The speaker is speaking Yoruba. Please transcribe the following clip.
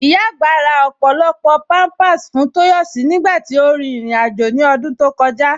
Ìyá agbá rà ọ́pọ̀lọ́pọ̀ àwọn pampa fún Toyosi nígbàtí ó rí irin-àjọ̀ ní ọdún tó kọ̀jà.